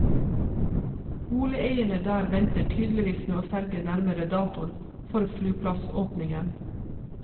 Boligeierne der venter tydeligvis med å selge nærmere datoen for flyplassåpningen.